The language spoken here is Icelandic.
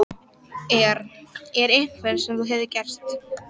Er. er eitthvað sem þú hefur gert?